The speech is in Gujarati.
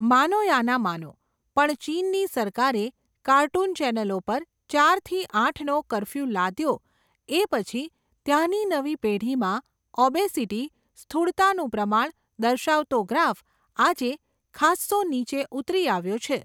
માનો યા ન માનો, પણ ચીનની સરકારે, કાર્ટૂન ચેનલો પર ચાર થી આઠ નો કરફ્યૂ લાદ્યો એ પછી, ત્યાંની નવી પેઢીમાં, ઓબેસિટી, સ્થૂળતાનું પ્રમાણ, દર્શાવતો ગ્રાફ, આજે ખાસ્સો નીચે ઊતરી આવ્યો છે.